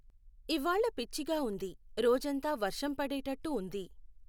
ఇవ్వాళ పిచ్చిగా ఉంది , రోజంతా వర్షం పడేటట్టు ఉంది.